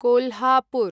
Kolhapur